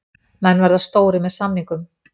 Menn verða stórir með samningum